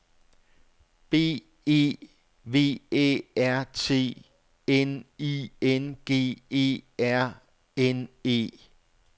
B E V Æ R T N I N G E R N E